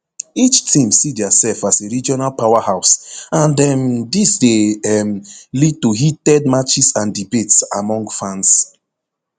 each team see diasef as a regional powerhouse and um dis dey um lead to heated matches and debates among fans